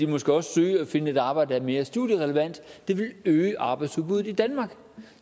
måske også søge at finde et arbejde der er mere studierelevant og det vil øge arbejdsudbudet i danmark